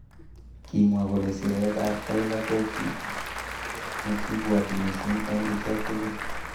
Kimwa kole siret ab Tyla koki nekibwoti missing eng ichek tugul.